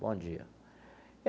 Bom dia.